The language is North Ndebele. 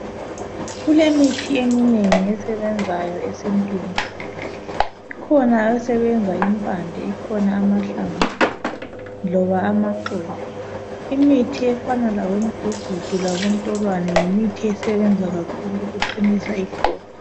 Kulemithi eminengi esebenzayo esintwini. Kukhona esebenza impande ikhona amahlamvu loba amaxolo. Imithi efana labo mugugudu labontolwane yimithi esebenza kakhulu ukuqinisa iqolo.